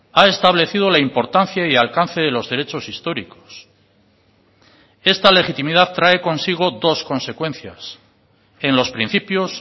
ha establecido la importancia y alcance de los derechos históricos esta legitimidad trae consigo dos consecuencias en los principios